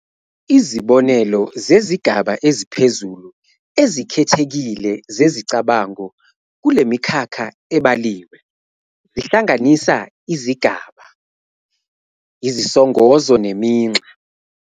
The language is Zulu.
Izibonelo zezigaba eziphezulu ezikhethekile zezicabango kulemikhakha ebaliwe zihlanganisa izigaba, izisongozo neminxa.